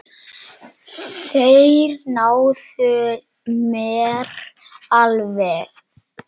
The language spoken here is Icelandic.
Þeir náðu mér alveg.